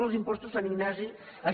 dels impostos sant ignasi